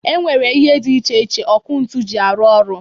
E nwere ihe dị iche iche ọkụ ntu jị arụ ọrụ